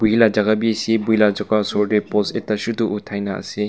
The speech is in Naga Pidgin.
post ekta chutu othai kena ase.